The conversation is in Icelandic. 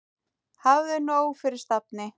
Hafðu nóg fyrir stafni.